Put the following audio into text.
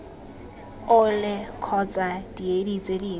ole kgotsa diedi tse dingwe